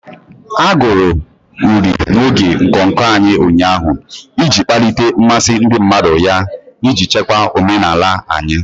A agụrụ uri n'oge nnọkọ anyị ụnyaahụ iji kpalite mmasị ndị mmadụ ya iji chekwa omenala anyị.